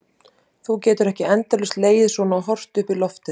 Þú getur ekki endalaust legið svona og horft upp í loftið.